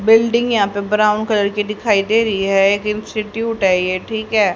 Building यहां पे brown colour की दिखाई दे रही है एक इंस्टीट्यूट है ये ठीक है।